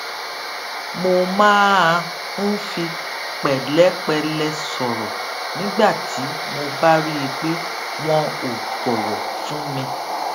mo máa ń fi pèlépẹlẹ sòrò nígbà tí mo bá rí i pé wọn ò bòwò fún mi